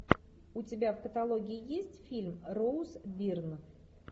у тебя в каталоге есть фильм роуз бирн